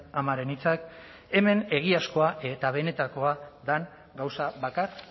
amaren hitzak hemen egiazkoa eta benetakoa den gauza bakar